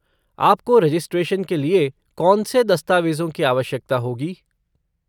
आपको रजिस्ट्रेशन के लिए कौन से दस्तावेज़ों की आवश्यकता होगी?